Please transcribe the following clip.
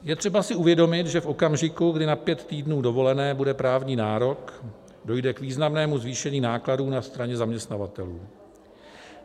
Je třeba si uvědomit, že v okamžiku, kdy na pět týdnů dovolené bude právní nárok, dojde k významnému zvýšení nákladů na straně zaměstnavatelů.